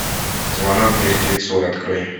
звонок мертвецу открой